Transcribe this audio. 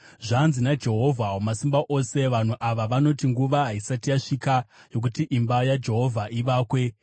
Zvanzi naJehovha Wamasimba Ose: “Vanhu ava vanoti, ‘Nguva haisati yasvika yokuti imba yaJehovha ivakwe.’ ”